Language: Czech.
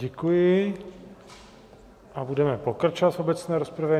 Děkuji a budeme pokračovat v obecné rozpravě.